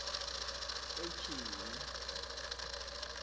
etyhini